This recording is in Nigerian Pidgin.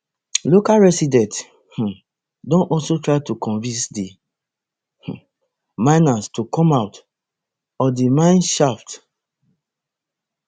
local residents um don also try to convince di um miners to come out of di mineshaft